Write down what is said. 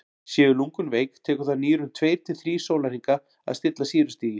séu lungun veik tekur það nýrun tveir til þrír sólarhringa að stilla sýrustigið